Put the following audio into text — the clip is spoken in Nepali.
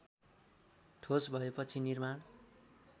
ठोस भएपछि निर्माण